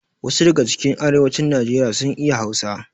Wasu daga cikin yan arewacin nijeriya sun iya hausa